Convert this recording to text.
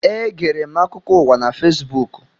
Egere m akụkọ ụwa na Fesbuku.